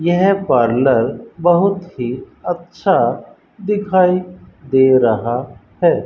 यह पार्लर बहुत ही अच्छा दिखाई दे रहा है।